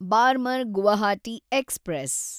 Barmer Guwahati express